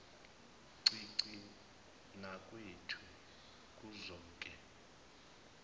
ncinci nakwethu kuzoke